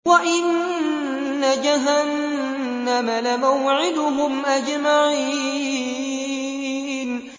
وَإِنَّ جَهَنَّمَ لَمَوْعِدُهُمْ أَجْمَعِينَ